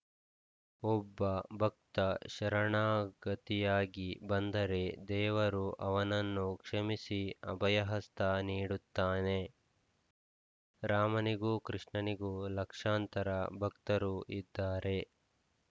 ಒಬ್ಬ ಭಕ್ತ ಶರಣಾಗತಿಯಾಗಿ ಬಂದರೆ ದೇವರು ಅವನನ್ನು ಕ್ಷಮಿಸಿ ಅಭಯಹಸ್ತ ನೀಡುತ್ತಾನೆ ರಾಮನಿಗೂ ಕೃಷ್ಣನಿಗೂ ಲಕ್ಷಾಂತರ ಭಕ್ತರು ಇದ್ದಾರೆ